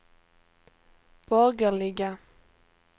borgerliga